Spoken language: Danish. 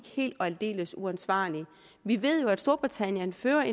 helt og aldeles uansvarlige vi ved jo at storbritannien fører